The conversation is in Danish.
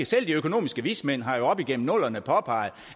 selv de økonomiske vismænd har jo op igennem nullerne påpeget